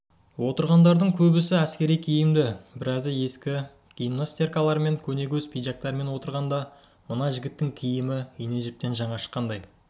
отырғандардың көбісі әскери киімді біразы ескі гимнастеркалармен көнетоз пиджактерімен отырғанда мына жігіттің киімі ине-жіптен жаңа шыққандай